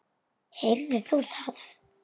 Heyrðir þú það?